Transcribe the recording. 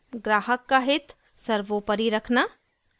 ग्राहक का हित सर्वोपरि रखना